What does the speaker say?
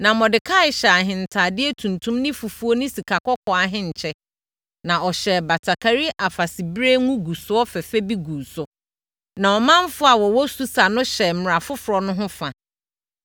Na Mordekai hyɛɛ ahentadeɛ tuntum ne fufuo ne sikakɔkɔɔ ahenkyɛ, na ɔhyɛɛ batakari afasebire ngugusoɔ fɛfɛ bi guu so. Na ɔmanfoɔ a wɔwɔ Susa no hyɛɛ mmara foforɔ no ho fa.